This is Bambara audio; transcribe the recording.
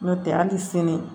N'o tɛ hali sini